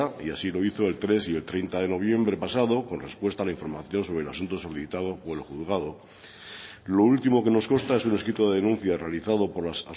y así lo hizo el tres y el treinta de noviembre pasado con respuesta a la información sobre el asunto solicitado por el juzgado lo último que nos consta es un escrito de denuncia realizado por las